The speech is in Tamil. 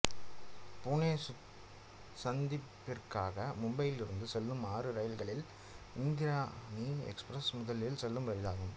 புனே சந்திப்பிற்காக மும்பையிலிருந்து செல்லும் ஆறு ரயில்களில் இந்திரயாணி எக்ஸ்பிரஸ் முதலில் செல்லும் ரயில் ஆகும்